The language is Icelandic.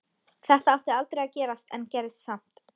Þetta átti aldrei að gerast en gerðist samt.